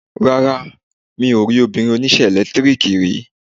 Rárá, mi ò rí obìnrin oníṣẹ́ ẹ̀lẹ́tíríkì rí.